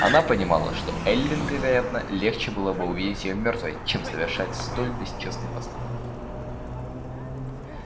она понимала что эллин вероятно легче было бы увидеть её мёртвой чем совершающей столь бесчестный поступок